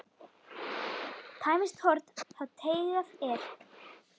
Tæmist horn þá teygað er.